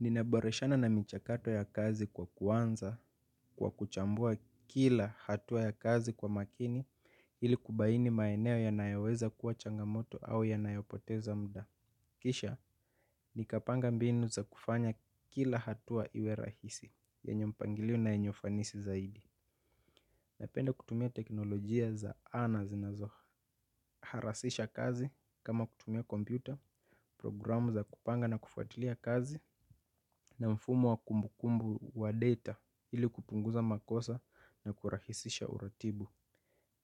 Ninaboreshana na michakato ya kazi kwa kuanza kwa kuchambua kila hatua ya kazi kwa makini ili kubaini maeneo yanayoweza kuwa changamoto au yanayopoteza muda. Kisha nikapanga mbinu za kufanya kila hatua iwe rahisi yenye mpangilio na yenye ufanisi zaidi. Napenda kutumia teknolojia za ana zinazoharasisha kazi kama kutumia kompyuta programu za kupanga na kufuatilia kazi na mfumo wa kumbukumbu wa data ili kupunguza makosa na kurahisisha uratibu.